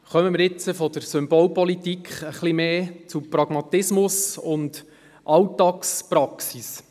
Kommen wir jetzt von der Symbolpolitik etwas mehr zum Pragmatismus und zur Alltagspraxis.